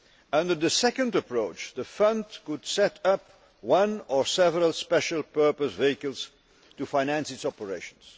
Under the second approach, the Fund could set up one or several special purpose vehicles to finance its operations.